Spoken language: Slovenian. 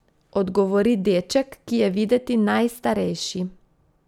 Odgovori deček, ki je videti najstarejši.